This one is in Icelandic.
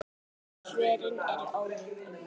Svörin eru ólík um margt.